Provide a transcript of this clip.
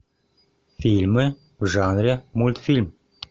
фильмы в жанре мультфильм